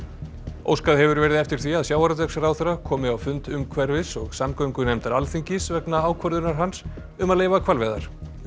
óskað hefur verið eftir því að sjávarútvegsráðherra komi á fund umhverfis og samgöngunefndar Alþingis vegna ákvörðunar hans um að leyfa hvalveiðar